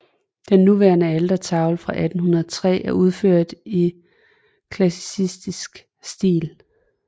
Den nuværende altertavle fra 1803 er udført i klassicistisk stil